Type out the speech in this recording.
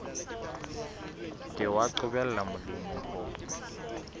ke wa qobella molemi ho